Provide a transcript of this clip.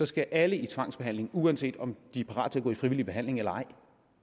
skal alle i tvangsbehandling uanset om de er parate til at gå i frivillig behandling eller ej